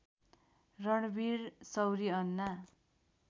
Ranveer Shorey Anna